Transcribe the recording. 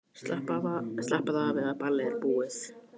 Slappaðu af, eða ballið er búið.